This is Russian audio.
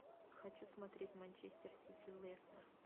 хочу смотреть манчестер сити лестер